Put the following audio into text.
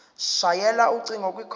shayela ucingo kwicall